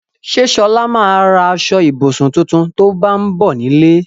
Ṣé Ṣọlá ma ra aṣọ-ìbùsùn tuntun tó bá ń bọ̀ nílé?